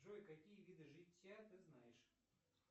джой какие виды житья ты знаешь